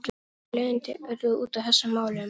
Þó nokkur leiðindi urðu út af þessu máli.